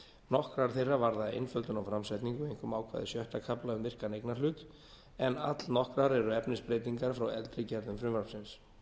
nokkrar þeirra varða einföldum á framsetningu einkum ákvæði sjötta kafla um virkan eignarhlut en allnokkrar eru efnisbreytingar frá eldri gerðum frumvarpsins